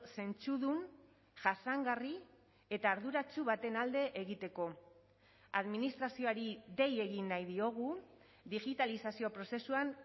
zentzudun jasangarri eta arduratsu baten alde egiteko administrazioari dei egin nahi diogu digitalizazio prozesuan